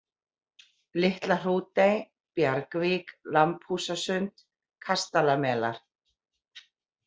Litla-Hrútey, Bjargvík, Lambhúsasund, Kastalamelar